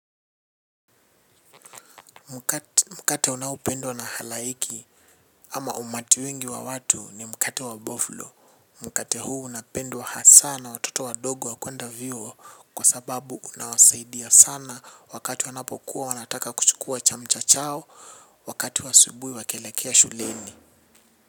Mkate unaopendwa na halaiki ama umati wingi wa watu ni mkate wa boflo. Mkate huu unapendwa hasa na watoto wadogo wa kwenda vyuo kwa sababu unawasaidia sana wakati wanapokuwa wanataka kuchukua chamcha chao wakati wa asubuhi wakielekea shuleni.